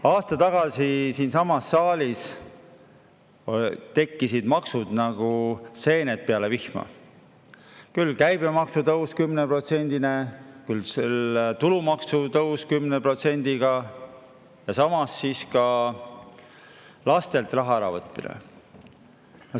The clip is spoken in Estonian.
Aasta tagasi siinsamas saalis tekkisid maksud nagu seened peale vihma: küll käibemaksu tõus 10%-line, küll tulumaksu tõus 10%-line ja samas ka lastelt raha äravõtmine.